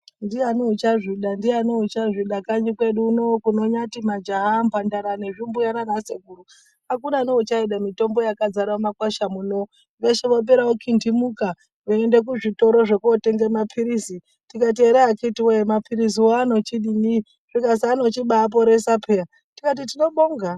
Ndiani uchazvida ,ndiani uchazvida kanyi kwedu uno kunonyati majaha, mhandara nezvimbuya nanasekuru akuna neuchaida mitombo yakazara mumakwasha muno veshe vapere kuntihimuka veiende kuzvitoro zvekutenge mapilizi tikati ere akiti woye mapiliziwo anochidini chikazi anochibaaporesa peya ,tikati tinobonga.